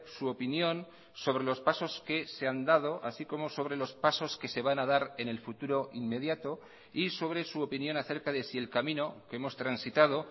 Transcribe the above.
su opinión sobre los pasos que se han dado así como sobre los pasos que se van a dar en el futuro inmediato y sobre su opinión acerca de si el camino que hemos transitado